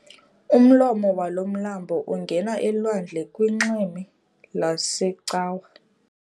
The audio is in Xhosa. Umlomo walo mlambo ungena elwandle kunxweme lwaseCawa.